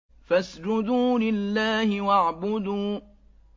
فَاسْجُدُوا لِلَّهِ وَاعْبُدُوا ۩